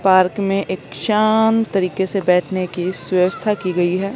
Park में एक शांत तरीके से बैठने की व्यवस्था की गई है।